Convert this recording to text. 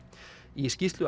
í skýrslu